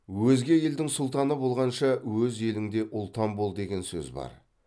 өзге елдің сұлтаны болғанша өз еліңде ұлтан бол деген сөз бар